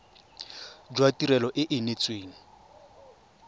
jwa tirelo e e neetsweng